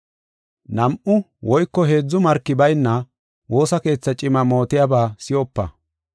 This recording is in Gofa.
Nam7u woyko heedzu marki bayna, woosa keetha cima mootiyaba si7opa.